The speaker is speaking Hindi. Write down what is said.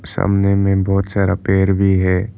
सामने में बहुत सारा पेड़ भी है।